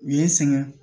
U ye n sɛgɛn